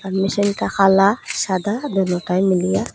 মেশিনটা কালা সাদা দোনোটাই মিলিয়া।